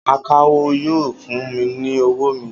Akawó yóò fún mi ní owó mi